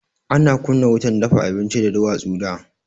Ana kunna wutan dafa abinci da duwatsu da.